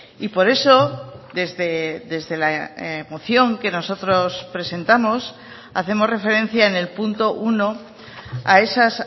y por eso desde la moción que nosotros presentamos hacemos referencia en el punto uno a esas